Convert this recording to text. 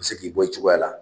U bɛ se k'i bɔ i cogoya la.